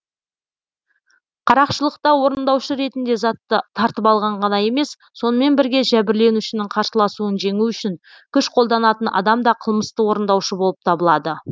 қарақшылықта орындаушы ретінде затты тартып алған ғана емес сонымен бірге жәбірленушінің қарсыласуын жеңу үшін күш қолданатын адам да қылмысты орындаушы болып табылады